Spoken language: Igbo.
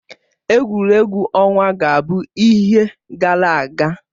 Egwuregwu ọnwa ga-abụ ihe gara aga